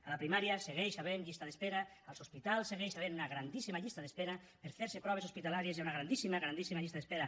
a la primària hi segueix havent llista d’espera als hospitals hi segueix havent una grandíssima llista d’espera per fer se proves hospitalàries hi ha una grandíssima grandíssima llista d’espera